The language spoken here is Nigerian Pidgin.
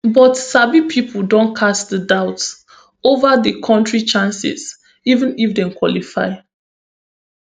but sabi pipo don cast doubt ova di kontris chances even if dem qualify